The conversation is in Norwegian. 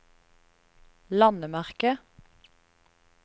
landemerke